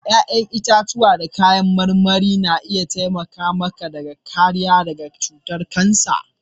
Ya'yan itãcen marmari da kayan marmari na iya taimaka maka kariya daga cutar kansa.